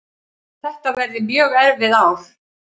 Þetta verði mjög erfið ár